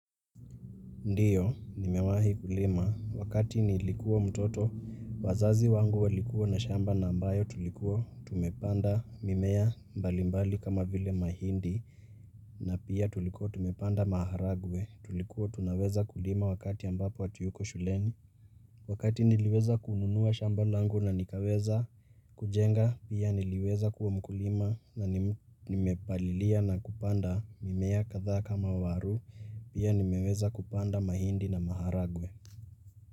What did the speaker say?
Ndiyo, nimewahi kulima, wakati nilikua mtoto, wazazi wangu walikua na shamba ambayo tulikuo, tumepanda mimeya mbalimbali kama vile mahindi, na pia tulikuo tumepanda maharagwe, Tumekuwa tu naweza kulima wakati ambapo hawatuyuko shuleni. Wakati ni liweza kununua shamba langu na nikawweza kujenga, Pia ni liweza kuwa mkulima na ni mepalilia na kupanda mimeya kadhaa kama waru, Pia nimeweza kupanda mahindi na maharagwe.